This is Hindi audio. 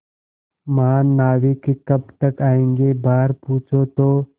महानाविक कब तक आयेंगे बाहर पूछो तो